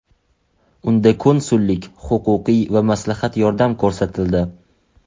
Unda konsullik-huquqiy va maslahat yordam ko‘rsatildi.